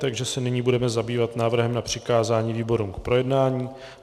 Takže se nyní budeme zabývat návrhem na přikázání výborům k projednání.